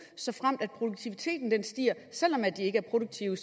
såfremt produktiviteten stiger selv om de ikke er produktive